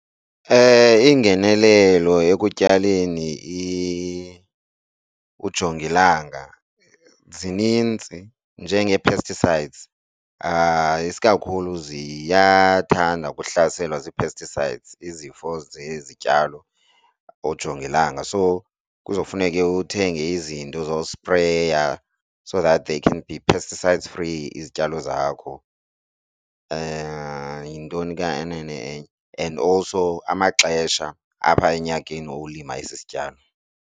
Iingenelelo ekutyaleni ujongilanga zininzi njengee-pesticides isikakhulu ziyathanda ukuhlaselwa zii-pesticides izifo zezityalo ujongilanga. So kuzawufuneke uthenge izinto zospreya so that they can be pesticides free izityalo zakho. Yintoni kanene enye? And also amaxesha apha enyakeni uwulima esi sityalo.